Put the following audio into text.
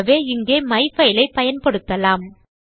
ஆகவே இங்கே மைஃபைல் ஐ பயன்படுத்தலாம்